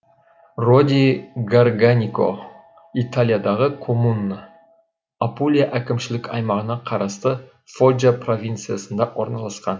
роди гарганико италиядағы коммуна апулия әкімшілік аймағына қарасты фоджа провинциясында орналасқан